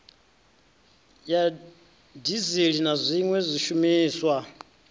ya dizili na zwiwe zwishumiswa